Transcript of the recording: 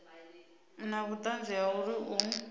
na vhuṱanzi ha uri u